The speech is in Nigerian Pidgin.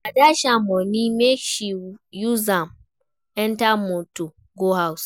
I dash am moni make she use am enter motor go house.